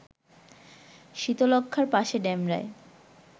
শীতলক্ষ্যার পাশে ডেমরায়